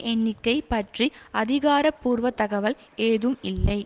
எண்ணிக்கை பற்றி அதிகாரபூர்வ தகவல் ஏதும் இல்லை